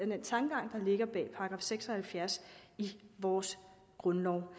den tankegang der ligger bag § seks og halvfjerds i vores grundlov